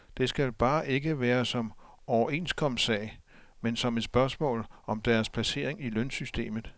Det skal bare ikke være som overenskomstsag, men som et spørgsmål om deres placering i lønsystemet.